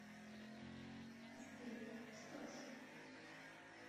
сбер что ж